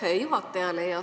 Aitäh juhatajale!